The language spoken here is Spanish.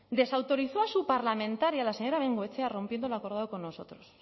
desautorizó a su parlamentaria la señora bengoechea rompiendo lo acordado con nosotros